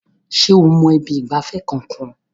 Ṣé o mọ ibi ìgbafẹ́ kankan?